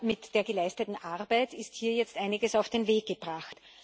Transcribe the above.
Mit der geleisteten Arbeit ist hier jetzt einiges auf den Weg gebracht.